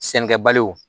Sɛnɛkɛbaliw